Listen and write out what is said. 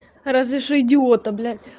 разреши идиота блядь